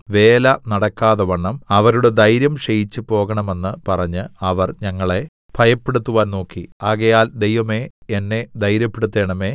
വേല നടക്കാതവണ്ണം അവരുടെ ധൈര്യം ക്ഷയിച്ച് പോകേണമെന്ന് പറഞ്ഞ് അവർ ഞങ്ങളെ ഭയപ്പെടുത്തുവാൻ നോക്കി ആകയാൽ ദൈവമേ എന്നെ ധൈര്യപ്പെടുത്തേണമേ